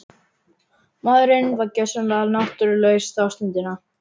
Maðurinn var gjörsamlega náttúrulaus þá stundina.